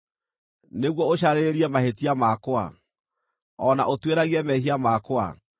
nĩguo ũcarĩrĩrie mahĩtia makwa, o na ũtuĩragie mehia makwa,